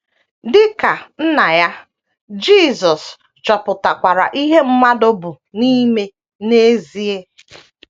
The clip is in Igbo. Dị ka Nna ya, Jisọs chọpụtakwara ihe mmadụ bụ n’ime n’ezie.